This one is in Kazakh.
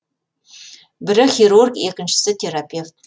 бірі хирург екіншісі терапевт